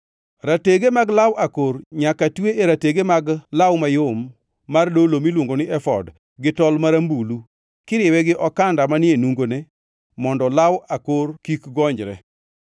Ratege mag law akor nyaka twe e ratege mag law mayom mar dolo miluongo ni efod gi tol marambulu, kiriwe gi okanda manie nungone mondo law akor kik gonyre.